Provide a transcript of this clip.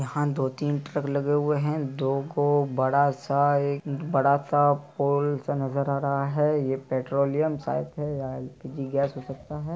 यहाँ दो तीन ट्रक लगे हुए हैं। दो गो बड़ा सा एक बड़ा सा पोल सा नजर आ रहा है। यह पेट्रोलियम शायद है या एलपीजी गैस हो सकता है।